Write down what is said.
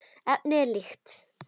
Efnið er líkt.